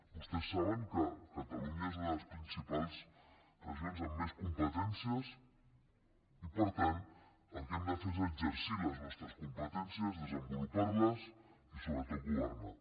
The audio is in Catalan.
vostès saben que catalunya és una de les principals regions amb més competències i per tant el que hem de fer és exercir les nostres competències desenvolupar les i sobretot governar